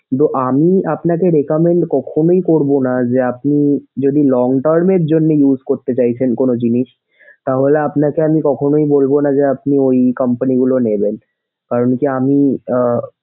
তো আমি আপনাকে recommended কখনোই করবোনা যে আপনি যদি long term এর জন্যে use করতে চাইতেন কোনো জিনিস তাহলে আপনাকে আমি কখনোই বলবোনা যে আপনি ঐ company গুলোই নিবেন। কারনকি আমি আহ,